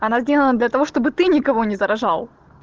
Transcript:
она сделана для того чтобы ты никого не заражал